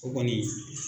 O kɔni